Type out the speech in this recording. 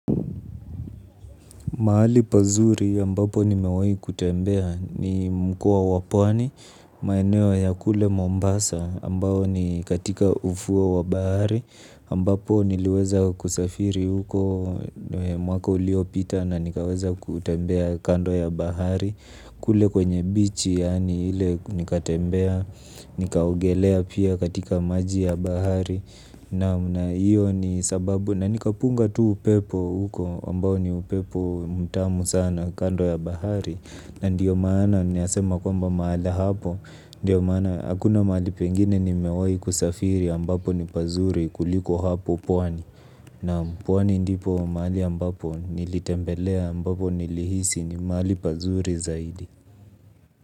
Mahali pazuri ambapo nimewahi kutembea ni mkoa wa pwani maeneyo ya kule Mombasa ambao ni katika ufuo wa bahari ambapo niliweza kusafiri huko mwaka uliopita na nikaweza kutembea kando ya bahari. Kule kwenye bichi yani ile nikatembea nikaogelea pia katika maji ya bahari. Naam na hiyo ni sababu na nikapunga tu upepo huko ambao ni upepo mutamu sana kando ya bahari. Na ndio maana ninasema kwamba mahala hapo ndio maana hakuna mahali pengine ni mewahi kusafiri ambapo ni pazuri kuliko hapo pwani. Naam pwani ndipo mahali ambapo nilitembelea ambapo nilihisi ni mahali pazuri zaidi.